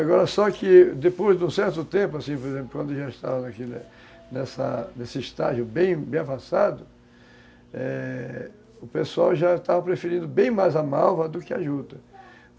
Agora só que depois de um certo tempo, assim, por exemplo, quando já estava naquele, nessa, nesse estágio bem avançado, é... O pessoal já estava preferindo bem mais a malva do que a juta.